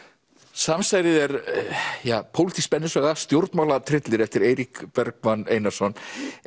samsærið er pólitísk spennusaga stjórnmálatryllir eftir Eirík Bergmann Einarsson